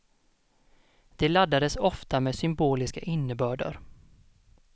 De laddades ofta med symboliska innebörder.